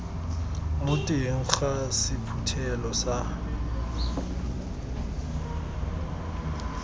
mo teng ga sephuthelo sa